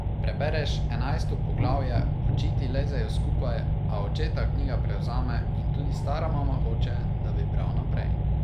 Prebereš enajsto poglavje, oči ti lezejo skupaj, a očeta knjiga prevzame in tudi stara mama hoče, da bi bral naprej.